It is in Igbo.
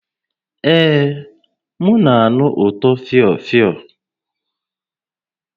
Ee, m na-anụ ụtọ fịọ fịọ